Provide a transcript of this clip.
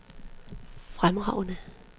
fremragende